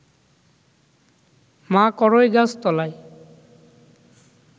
মা কড়ইগাছ তলায়